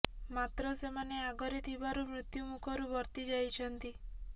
ମାତ୍ର ସେମାନେ ଆଗରେ ଥିବାରୁ ମୃତ୍ୟୁ ମୁଖରୁ ବର୍ତ୍ତି ଯାଇଛନ୍ତି